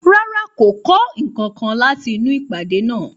Rárá, kò kọ́ nǹkankan láti inú ìpàdé náà.